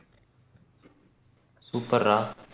super டா